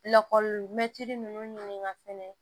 Lakɔlimɛtiri ninnu ɲininka fɛnɛ